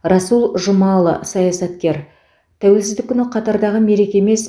расул жұмаұлы саясаткер тәуелсіздік күні қатардағы мереке емес